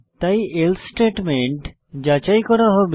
তাই else statement যাচাই করা হবে